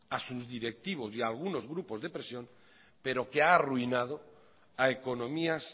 a sus directivos y a algunos grupos de presión pero que ha arruinado a economías